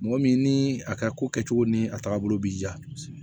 Mɔgɔ min ni a ka ko kɛcogo ni a taagabolo b'i ja